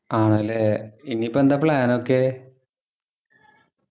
ആണല്ലേ ഇനിയിപ്പോ എന്താ plan ഒക്കെ